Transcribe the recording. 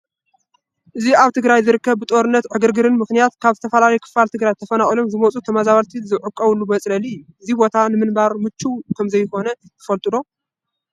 እዚ ኣብ ትግራይ ዝርከብ ብጦርነትን ዕግርግርን ምኽንያት ካብ ዝተፈላለየ ክፋል ትግራይ ተፈናቒሎም ዝመፁ ተመዛበለቲ ዘዕቖቡሉ መፅለሊ እዩ፡፡ እዚ ቦታ ንምንባር ምችውነት ከምዘይብሉ ትፈል ዶ?